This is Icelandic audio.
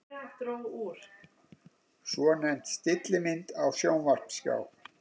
Svonefnd stillimynd á sjónvarpsskjá.